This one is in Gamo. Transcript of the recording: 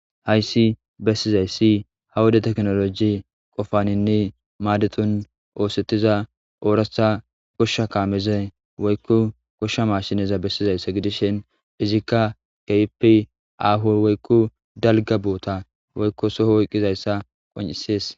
hayssi bessizayssi ha woda teknoloji qofaninni maadeton oosettiza ooratha goshsha kaameze woykku goshsha mashineza bessizayssa gidishen izikka kepi ahu woykko dalga boota woykko soho woyqqizayssa qon7isees